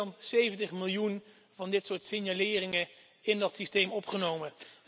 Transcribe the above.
We hebben meer dan 70 miljoen van dit soort signaleringen in dat systeem opgenomen.